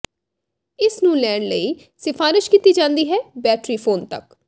ਇਸ ਨੂੰ ਲੈਣ ਲਈ ਸਿਫਾਰਸ਼ ਕੀਤੀ ਜਾਦੀ ਹੈ ਬੈਟਰੀ ਫੋਨ ਤੱਕ